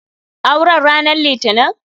Aure n ranan litinin?